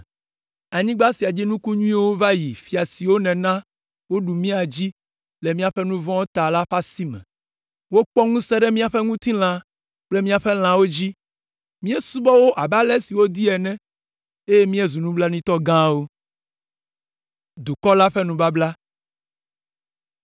Anyigba sia dzi nuku nyuiwo va yi fia siwo nèna woɖu mía dzi le míaƒe nu vɔ̃wo ta la ƒe asime. Wokpɔ ŋusẽ ɖe míaƒe ŋutilã kple míaƒe lãwo dzi. Míesubɔa wo abe ale si wodi ene, eye míezu nublanuitɔ gãwo.”